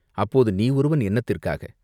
"அப்போது நீ ஒருவன் என்னத்திற்காக!